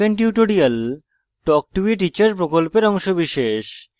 spoken tutorial talk to a teacher প্রকল্পের অংশবিশেষ